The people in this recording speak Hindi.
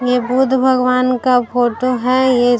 ये बुध भगवान का फोटो है ये --